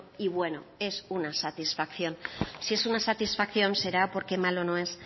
y bueno es una satisfacción si es una satisfacción será porque malo no es